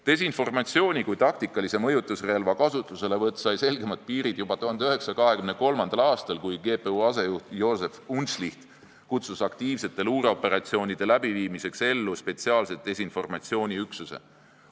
Desinformatsiooni kui taktikalise mõjutusrelva kasutuselevõtt sai selgemad piirid juba 1923. aastal, kui GPU asejuht Józef Unszlicht kutsus aktiivsete luureoperatsioonide läbiviimiseks ellu spetsiaalse desinformatsiooniüksuse.